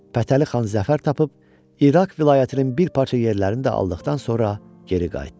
Fətəli xan zəfər tapıb, İraq vilayətinin bir parça yerlərini də aldıqdan sonra geri qayıtdı.